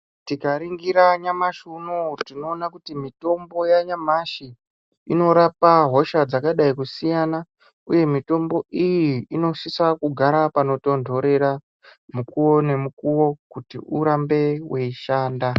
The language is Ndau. Tikaringira nyamashi unowu tinoona kuti mitombo yanyamashi inorapa hosha dzakadai kusiyana uye mitombo iyi inosise kugara panotontorera mukuwo nemukuwo kuti urambe weishanda.